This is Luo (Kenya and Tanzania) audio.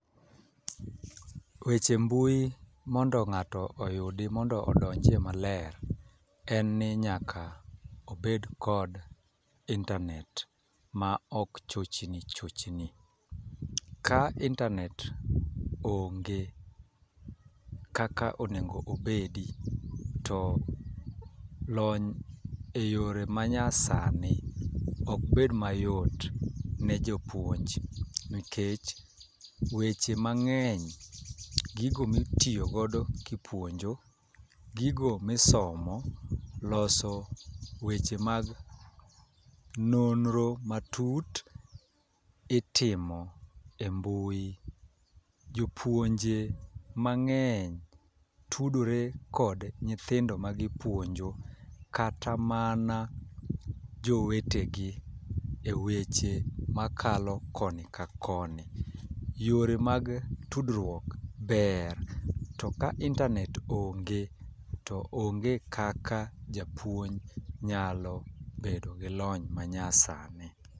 Weche mbui mondo ng'ato oyudi mondo odonje maler en ni nyaka obed kod internet ma ok chochni chochni . Ka internet onge kaka onego obedi to lony e yore manyasani ok bed mayot ne jopuonj nikech, weche mang'eny gigo mitiyo godo kipuonjo, gigo misomo, loso weche mag nonro matut itimo e mbui . Jopuonje mang'eny tudore kod nyithindo ma gipuonjo kata mana jowetegi e weche makalo koni ka koni. Yore mag tudruok ber to ka internet onge to onge kaka japuonj nyalo bedo gi lony ma nya sani.